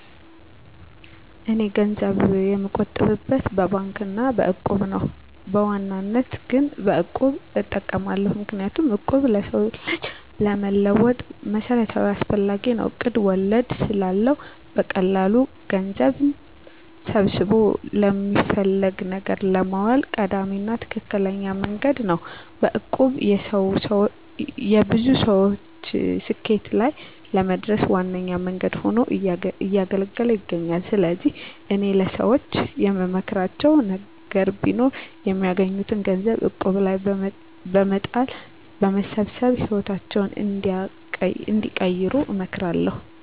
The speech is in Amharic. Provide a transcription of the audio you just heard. እኔ ገንዘብ የምቆጥብበት በባንክ አና በእቁብ ነው። በዋናነት ግን በቁብ እጠቀማለሁ። ምክንያቱም እቁብ ለሰው ልጅ ለመለወጥ መሰረታዊና አስፈላጊ ነው። እቁብ ወለድ ስለለው በቀላሉ ገንዘብን ሰብስቦ ለሚፈለግ ነገር ለማዋል ቀዳሚና ትክክለኛ መንገድ ነው። በእቁብ የብዙ ሰወች ስኬት ላይ ለመድረስ ዋነኛ መንገድ ሁኖ እያገለገለ ይገኛል። ስለዚህ እኔ ለሰወች የምመክራቸው ነገር ቢኖር የሚያገኙትን ገንዘብ እቁብ ላይ በመጣል በመሰብሰብ ህይወታቸውን እንዲቀይሩ እመክራለሁ።